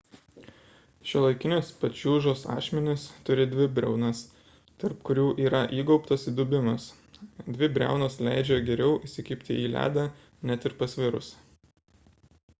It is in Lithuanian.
šiuolaikinės pačiūžos ašmenys turi dvi briaunas tarp kurių yra įgaubtas įdubimas dvi briaunos leidžia geriau įsikibti į ledą net ir pasvirus